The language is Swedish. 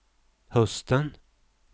hösten